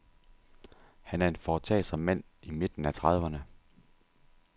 Han er en foretagsom mand i midten af trediverne.